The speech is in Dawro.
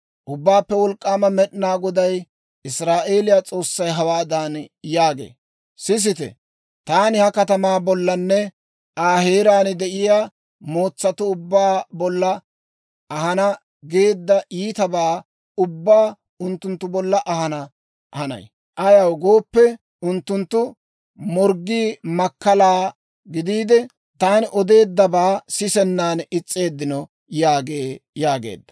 «Ubbaappe Wolk'k'aama Med'inaa Goday, Israa'eeliyaa S'oossay hawaadan yaagee; ‹Sisite, taani ha katamaa bollanne Aa heeraan de'iyaa mootsatuu ubbaa bolla ahana geedda iitabaa ubbaa unttunttu bolla ahana hanay. Ayaw gooppe, unttunttu morggii makkalaa gidiide, taani odeeddabaa sisennan is's'eeddino› yaagee» yaageedda.